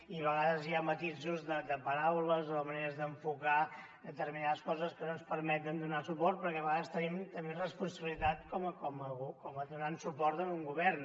i a vegades hi ha matisos de paraules o maneres d’enfocar determinades coses que no ens permeten donar hi suport perquè a vegades tenim també responsabilitat donant suport a un govern